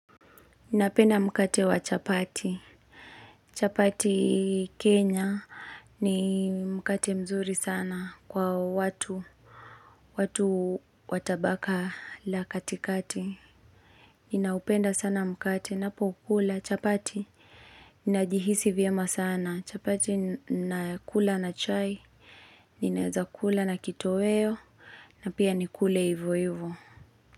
Ninapenda mkate wa chapati. Chapati, Kenya ni mkate mzuri sana kwa watu. Watu watabaka la katikati. Ninaupenda sana mkate, ninapo kula chapati. Ninajihisi vyema sana. Chapati nakula na chai. Ninaweza kula na kitoweo. Na pia nikule hivo hivo.